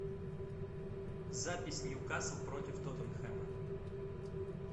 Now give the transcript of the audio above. запись ньюкасл против тоттенхэма